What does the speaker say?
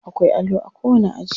Akwai allo a kowani aji.